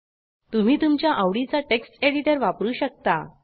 तुम्ही तुमच्या आवडीचा टेक्स्ट एडिटर वापरू शकता